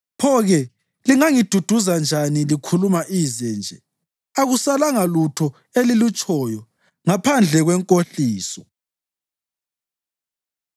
Pho-ke lingangiduduza njani likhuluma ize nje? Akusalanga lutho elilutshoyo ngaphandle kwenkohliso.”